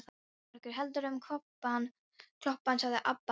Guðbergur heldur um klobbann, sagði Abba hin.